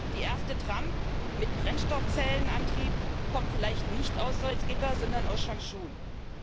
Die erste Tram mit Brennstoffzellenantrieb kommt vielleicht nicht aus Salzgitter, sondern aus Changchun.